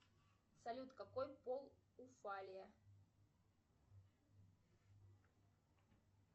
салют какой пол у фалия